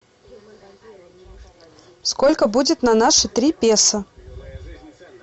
сколько будет на наши три песо